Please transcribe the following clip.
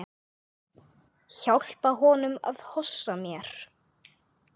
Hjálpa honum að hossa mér.